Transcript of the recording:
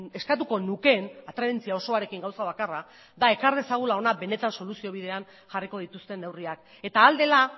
eskatuko nukeen atrebentzia osoarekin gauza bakarra da ekar dezagula ona benetan soluzio bidean jarriko dituzten neurriak eta ahal dela